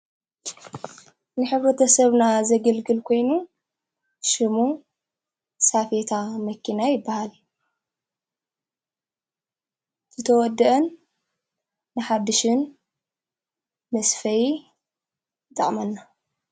ንሕብረተሰብና ዘግልግል ኮይኑ ሽሙ ሳፌታ መኪና ይበሃል ዝተወድአን ንሓድሽን ምስ ፈይ ፃዕመና።